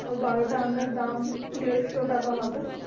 ওই বারোটা আমের দাম দেড়শো টাকা হবে